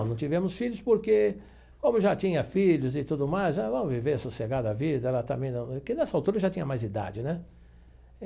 Não, não tivemos filhos porque, como eu já tinha filhos e tudo mais, ah vamos viver, sossegar a vida, ela também não, que nessa altura já tinha mais idade, né?